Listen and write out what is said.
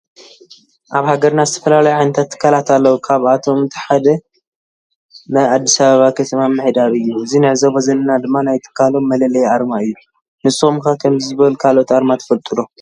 አብ ሃገርና ዝተፈላለዩ ዓይነታት ትካላት አለው ካብ አቶም ሓደ ናይ አዲስ አበባ ከተማ ምምሕዳር እዩ ።እዚ ንዕዘቦ ዘለና ድማ ናይ ትካሎም መለለይ አርማ እዩ ። ንስኩም ከ ከምዚ ዝበሉ ካልኦት አርማ ትፈልጡ ዶ?